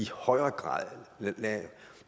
højere grad lade